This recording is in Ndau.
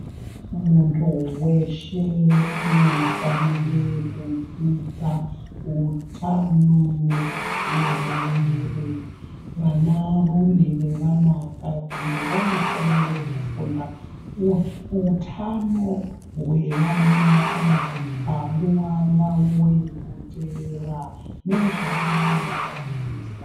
Muntu weshe unofanira kudzidza utano hwemuviri. Vanarume nevanakadzi vanofanire kufunda kuti utano hwevanakadzi panguwa yavo yekuteera nezvavanoshandisa.